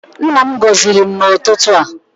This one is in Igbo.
Nna m gọziri m n'ụtụtụ a.